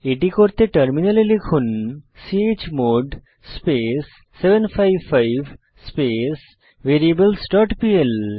এটি করতে টার্মিনালে লিখুন chmod space 755 space variables dot PL